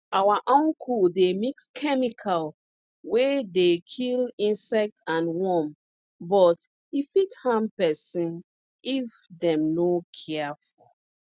our uncle dey mix chemical wey dey kill insect and worm but e fit harm peson if dem no careful